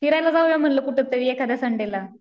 फिरायला जाऊया म्हणलं कुठंतरी एखाद्या संडेला.